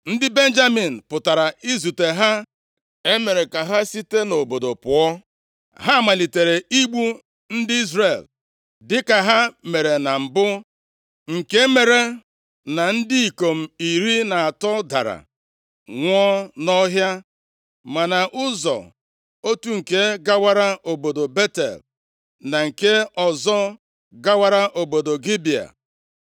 Ndị Benjamin pụtara izute ha, e mere ka ha site nʼobodo pụọ. Ha malitere igbu ndị Izrel dịka ha mere na mbụ, nke mere na ndị ikom iri atọ dara nwụọ nʼọhịa ma na ụzọ, otu nke gawara obodo Betel, na nke ọzọ gawara obodo Gibea.